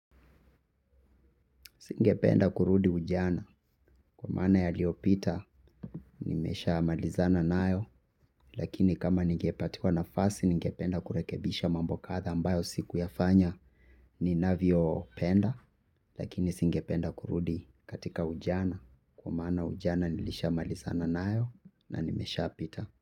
Singependa kurudi ujana kwa maana yaliyopita nimeshamalizana nayo lakini kama ningepatiwa nafasi ningependa kurekebisha mambo kadhaa ambayo sikuyafanya ninavyopenda lakini singependa kurudi katika ujana kwa maana ujana nilishamalizana nayo na nimesha pita.